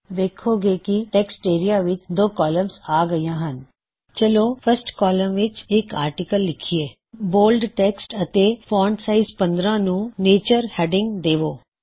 ਵੇੱਖੋਂ ਗੇ ਕੀ text area ਵਿੱਚ 2 ਕੌਲਮਜ਼ ਆ ਗਇਆ ਹਨ ਚਲੋ ਆਪਨੀ ਫਸਟ ਕੌਲਮ ਵਿੱਚ ਇਕ ਆਰਟਿਕਲ ਲਿਖਿਅ ਬੋਲਡ ਟੈੱਕਸਟ ਅਤੇ font size 15 bold text font size 15 ਇਸ ਨੂੰ ਨੇਚਰ ਹੇਡਿਂਗ ਦੇਵੋ